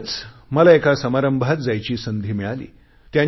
कालच मला एका समारंभात जायची संधी मिळाली